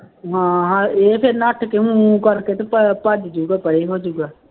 ਹਾਂ ਇਹ ਤੇ ਨੱਠ ਕੇ ਉਹਨੂੰ ਊਂ ਕਰਕੇ ਅਤੇ ਭ ਅਹ ਭੱਜ ਜਾਊਗਾ ਪਰੇ ਹੋ ਜਾਊਗਾ